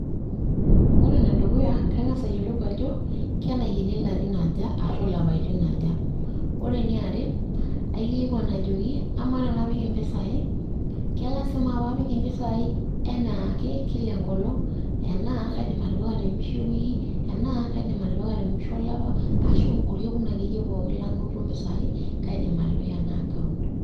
Ore enedukuya, kang'asa ayiolou ajo kenaikeni ilarin aja ashu ilapaitin aja. Ore eniare, aikilikwan ajoki, amaa tenapik impisai, kela sima pe apik impisai enaake? kila enkolong',ena kaidim atipika temusho ewiki, enaa kaidim atipika temusho olapa, ashu orkekun akeyie pookin lanoto impisai, kaidim atipika ena account.